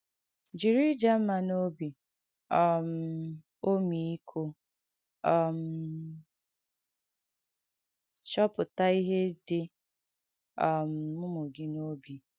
Jìrì ìjà mma na obi um ọ̀mị́íkọ̀ um chọ̀pùtà ihe dī um ùmù gị n’òbi.